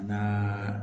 N'a